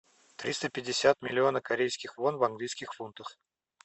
триста пятьдесят миллиона корейских вон в английских фунтах